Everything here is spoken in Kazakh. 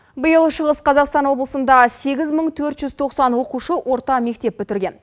биыл шығыс қазақстан облысында сегіз мың төрт жүз тоқсан оқушы орта мектеп бітірген